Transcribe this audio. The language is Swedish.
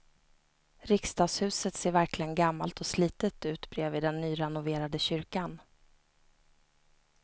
Riksdagshuset ser verkligen gammalt och slitet ut bredvid den nyrenoverade kyrkan.